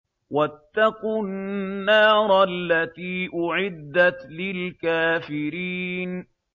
وَاتَّقُوا النَّارَ الَّتِي أُعِدَّتْ لِلْكَافِرِينَ